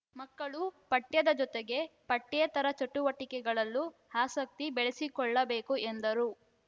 ಮಕ್ಕಳು ಪಠ್ಯದ ಜೊತೆಗೆ ಪಠ್ಯೇತರ ಚಟುವಟಿಕೆಗಳಲ್ಲೂ ಆಸಕ್ತಿ ಬೆಳೆಸಿಕೊಳ್ಳಬೇಕು ಎಂದರು